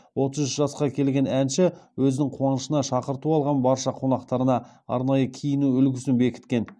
отыз үш жасқа келген әнші өзінің қуанышына шақырту алған барша қонақтарына арнайы киіну үлгісін бекіткен